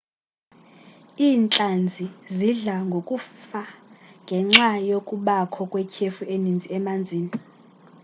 iintlanzi zidla ngokufa ngenxa yokubakho kwetyhefu eninzi emanzini